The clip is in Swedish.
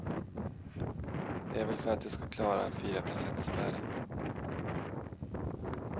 Det är väl för att de ska klara fyraprocentsspärren.